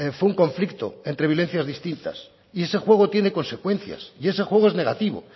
fue un conflicto entre violencias distintas y ese juego tiene consecuencias y ese juego es negativo